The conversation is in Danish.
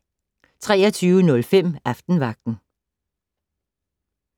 23:05: Aftenvagten